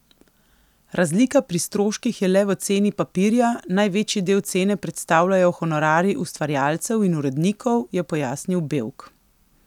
Razlika pri stroških je le v ceni papirja, največji del cene predstavljajo honorarji ustvarjalcev in urednikov, je pojasnil Bevk.